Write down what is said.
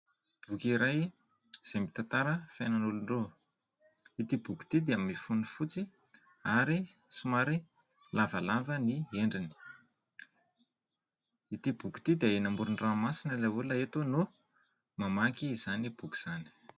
Boky iray izay mitantara fianan'olon-droa. Ity boky ity dia mifono fotsy ary somary lavalava ny endriny. Ity boky ity dia eny amoron-dranomasina ilay olona eto no mamaky izany boky izany.